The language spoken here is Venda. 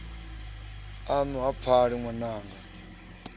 aṋu ha pfali ṅwananga ni